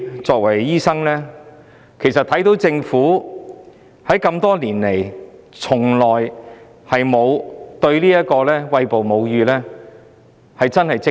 作為醫生，我認為政府多年來從沒有積極處理歧視餵哺母乳的問題。